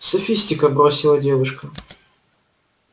софистика бросила девушка